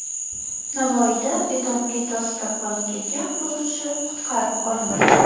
Navoiyda beton plita ostida qolib ketgan quruvchi qutqarib olindi .